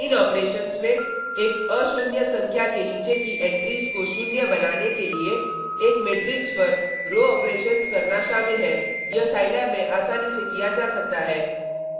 इन operations में एक अशून्य संख्या के नीचे की एंट्रीज़ को शून्य बनाने के लिए एक मेट्रिक्स पर रो ऑपरेशन्स करना शामिल है यह साईलैब में आसानी से किया जा सकता है